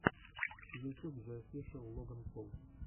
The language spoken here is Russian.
ютюб зе офишэл логан пол